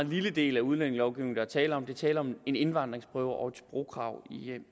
lille del af udlændingelovgivningen der er tale om der er tale om en indvandringsprøve og et sprogkrav